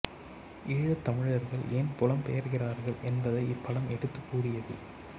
ஈழத் தமிழர்கள் ஏன் புலம் பெயர்கிறார்கள் என்பதை இப்படம் எடுத்துக் கூறியது